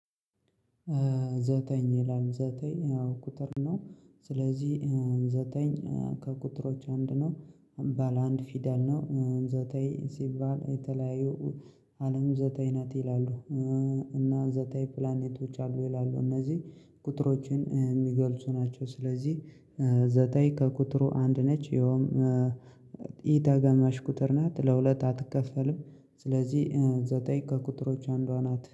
ዘጠኝ ይላል ዘጠኝ አዎ ቁጥር ነው። ስለዚህ ዘጠኝ ከቁጥሮች አንድ ነው ባለ አንድ ፊደል ነው። ዘጠኝ ሲባል የተለያዩ አለም ዘጠኝ ናት ይላሉ። እና ዘጠኝ ፕላኔቶች አሉ ይላሉ። እነዚህ ቁጥሮችን የሚገልጹ ናቸው። ስለዚህ ዘጠኝ ከቁጥሩ አንድ ነች። ይኸውም ኢተጋማሽ ቁጥር ናት ለሁለታ አትከፈልም። ስለዚህ ዘጠኝ ከቁጥሮች አንዷ ናት።